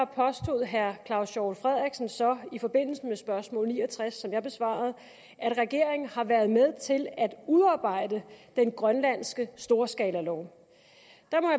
påstod herre claus hjort frederiksen så i forbindelse med spørgsmål ni og tres som jeg besvarede at regeringen har været med til at udarbejde den grønlandske storskalalov